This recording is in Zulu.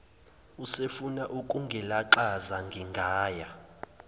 usefuna ukungilaxaza ngingaya